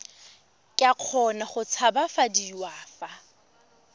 ka kgona go tshabafadiwa fa